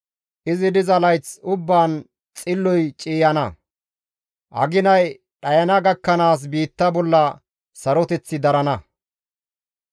Izi diza layth ubbaan xilloy ciiyana; aginay dhayana gakkanaas biitta bolla saroteththi darana.